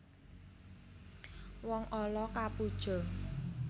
Wong ala kapuja